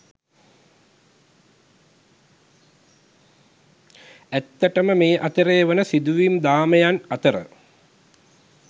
ඇත්තමට මේ අතරෙ වන සිදුවීම් දාමයන් අතර